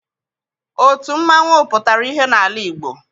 Otu mmanwụ pụtara ihe n'ala Igbo.